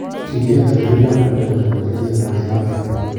Kitiendyo biik ab kanisa kochame Chesu eng wasiwasi